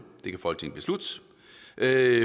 det